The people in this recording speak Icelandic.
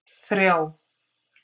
þrjá